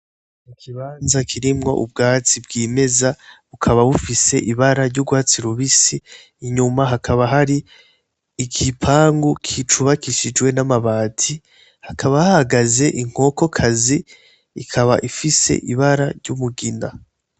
Ikibanza kirimwo ubwatsi bw'imeza, bukaba bufise ibara ry'urwatsi rubisi, inyuma hakaba hari igipangu cubakishijwe n'amabati, hakaba hahagaze inkokokazi ikaba ifise ibara ry'umugina.